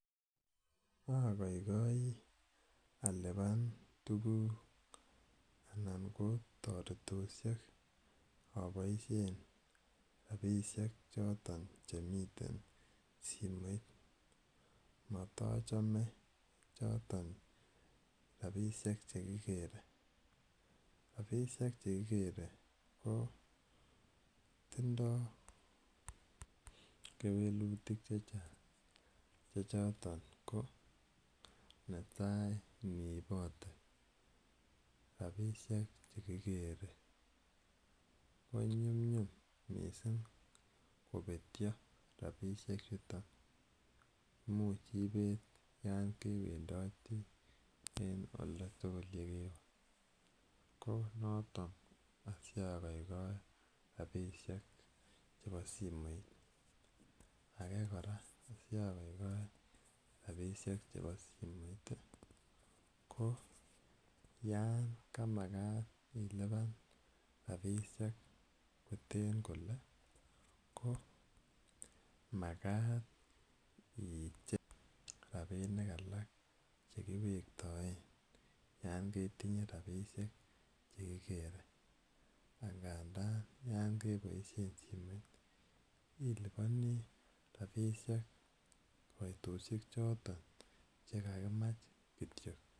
Ogoigoi alipan tukuk anan ko toretoshek aiboishen rabishek choton chemiten simoit motochome rabishek chekikere , rabishek chekikere ko tindo keweluti chechang chechotet ko netai nibote rabishek chekikere knyumnyum missing kobetyo rabishek chuton imuch ibet en oldatuku yekewe ,ko noton asiogoigoe rabishek chemeii simoit, age koraa sogoigoi rabishek chebo simoit koyon kamakat ilipan rabishek koteb kole ko makat icheng rabinik all chekiwektoen yon ketinye rabishek chekekere angandan yon keboishen simoit iliponi rabishek koitoshek choton chekakimach